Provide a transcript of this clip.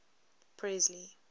presley